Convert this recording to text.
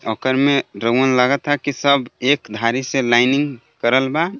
ओकर में रऊन लागता की सब एक धारी से लाइनिंग करल बा.